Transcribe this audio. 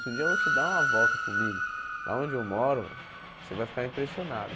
Se um dia você dar uma volta comigo, lá onde eu moro velho, você vai ficar impressionado.